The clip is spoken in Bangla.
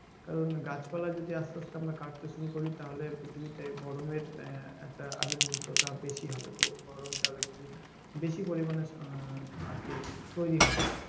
কারন গাছপালা যদি আমরা আসতে আসতে কাটতে শুরু করি তাহলে পৃথিবীতে গরমের আহ একটা আবির্ভুতটা বেশি হবে গরমটা একটু বেশি পরিমানে আহ একটু তৈরি হবে আরকি।